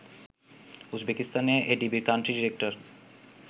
উজবেকিস্তানে এডিবির country director